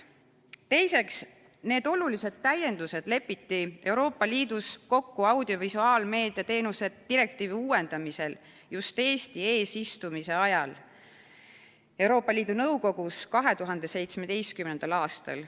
Teiseks, need olulised täiendused lepiti Euroopa Liidus kokku audiovisuaalmeedia teenuste direktiivi uuendamisel just Eesti eesistumise ajal Euroopa Liidu Nõukogus 2017. aastal.